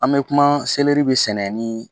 An bɛ kuma seleri bɛ sɛnɛ ni